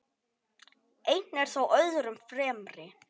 Einn er þó öðrum fremri.